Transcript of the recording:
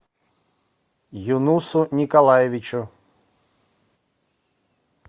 юнусу николаевичу